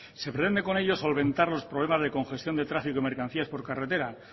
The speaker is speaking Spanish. se pretende con ello solventar los problema de congestión de tráfico de mercancías por carretera